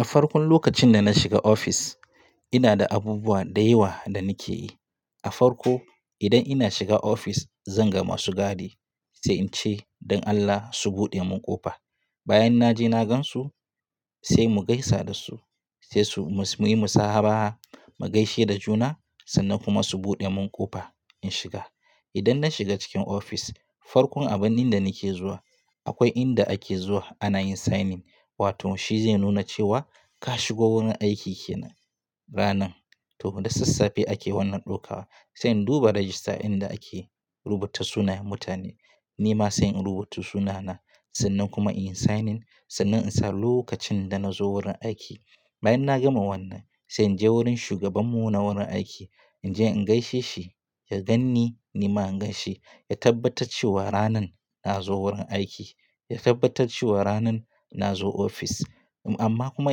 A farkon lokacin da na shiga ofis, ina da abubuwa da yawa da nake yi. A farko idan ina shiga ofis, zan ga masu gadi sai in ce, "don Allah su buɗe mun ƙofa." Bayan naje na gansu sai mu gaisa da su, sai su-- muyi musahaba, mu gaishe da juna sannan kuma su buɗe mun ƙofa in shiga. Idan na shiga cikin ofis, farkon abin inda nake zuwa akwai inda ake zuwa ana yin signing wato shi zai nuna cewa ka shigo wurin aiki kenan ranan. To da sassafe ake wannan ɗokawa. Sai in duba rajista inda ake rubuta sunayen mutane, nima sai in rubuta sunana sannan kuma in yi signing sannan in sa lokacin da na zo wurin aiki. Bayan na gama wannan, sai in je wurin shugabanmu na wurin aiki, in je in gaishe shi, ya ganni nima an ganshi, ya tabbatar cewa ranan na zo wurin aiki, ya tabbatar cewa ranan na zo ofis. Amma kuma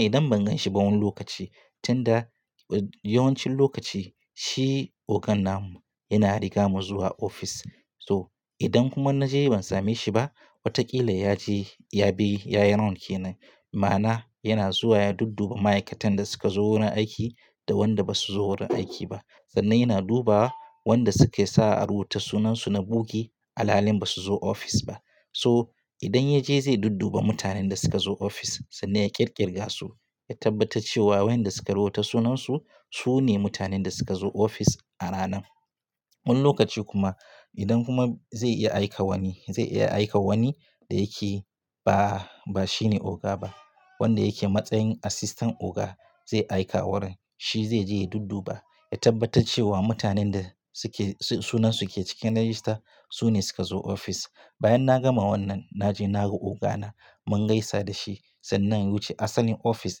idan ban ganshi ba wani lokaci, tunda yawancin lokaci shi ogan namu yana riga mu zuwa ofis. To idan kuma na je ban same shi ba, watakila ya je ya bi ya yi run kenan. Ma'ana yana zuwa ya dudduba ma'aikatan da suka zo wurin aiki da wanda basu zo wurin aiki ba. Sannan yana duba wanda suke sa a rubuta sunansu na bugi, alalhin basu zo ofis ba. So idan ya je zai dudduba mutanen da suka zo ofis sannan ya ƙirƙirga su, ya tabbatar cewa wayanda suka rubuta sunansu, su ne mutanen da suka zo ofis a ranan. Wani lokaci kuma idan kuma zai iya aika wani, zai iya aika wani da yake ba, ba shine oga ba, wanda yake matsayin asistan oga zai aika wurin. Shi zai je ya dudduba, ya tabbatar cewa mutanen da suke-- sunansu suke cikin rajista su ne suka zo ofis. Bayan na gama wannan, naje na ga ogana, mun gaisa da shi sannan ya wuce. Assalin ofis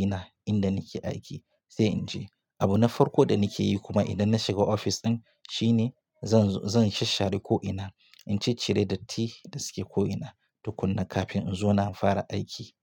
ina inda nake aiki sai in je. Abu na farko da nake yi kuma idan na shiga ofis ɗin shine zan, zan shashare ko'ina, in ce cire datti da suke ko'ina tukuna kafin in zauna fara aiki.